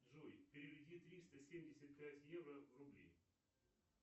джой переведи триста семьдесят пять евро в рубли